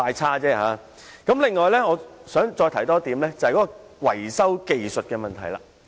此外，我想談談電動車維修技術的問題。